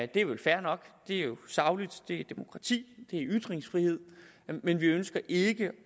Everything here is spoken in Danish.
det er vel fair nok det er sagligt det er demokrati det er ytringsfrihed men vi ønsker ikke